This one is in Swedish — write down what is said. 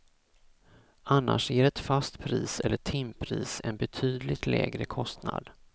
Annars ger ett fast pris eller timpris en betydligt lägre kostnad.